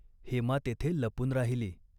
हेमा तेथे लपून राहिली.